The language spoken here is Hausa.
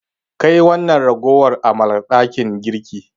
Kai wannan ragowar amalar dakin girki.